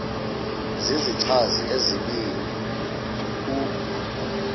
zizichazi ezibini u